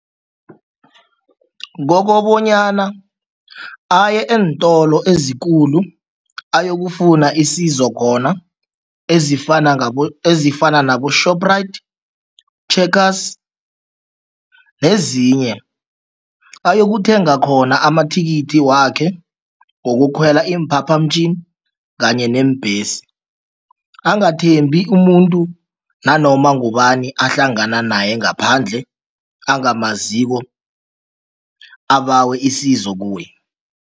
Kokobanyana aye eentolo ezikulu ayokufuna isizo khona ezifana ezifana nabo-Shoprite, Checkers nezinye, ayokuthenga khona amathikithi wakhe wokukhwela iimphaphamtjhini kanye neembhesi. Angathembeki umuntu nanoma ngubani ahlangana naye ngaphandle, angamaziko abawe isizo kuye.